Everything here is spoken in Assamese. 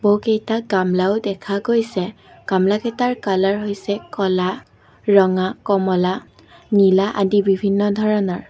বহুকেইটা গামলাও দেখা গৈছে গামলাকেইটাৰ কালাৰ হৈছে ক'লা ৰঙা কমলা নীলা আদি বিভিন্ন ধৰণৰ।